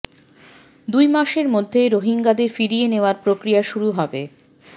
দুই মাসের মধ্যে রোহিঙ্গাদের ফিরিয়ে নেয়ার প্রক্রিয়া শুরু হবে